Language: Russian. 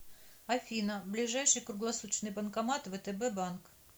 афина ближайший круглосуточный банкомат втб банк